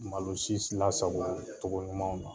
Malo si si lasagɔ tɔgɔ ɲumanw na